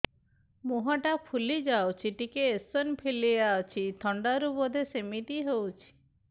ମୁହଁ ଟା ଫୁଲି ଯାଉଛି ଟିକେ ଏଓସିନୋଫିଲିଆ ଅଛି ଥଣ୍ଡା ରୁ ବଧେ ସିମିତି ହଉଚି